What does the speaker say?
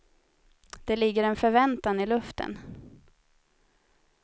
Det ligger en förväntan i luften.